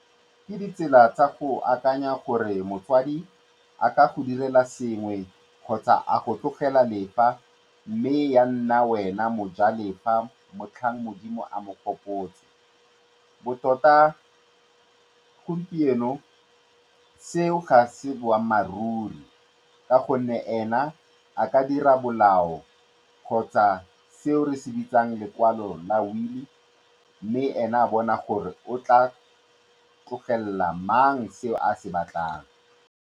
Ke ditsela tsa go akanya gore motsadi a ka go direla sengwe kgotsa a go tlogelela lefa mme ya nna wena mojalefa motlhang Modimo a mo gopotse. Gompieno seo ga se boammaaruri ka gonne ena a ka dira molao kgotsa seo re se bitsang lekwalo la will mme ene a bona gore o tla tlogelela mang seo a se batlang.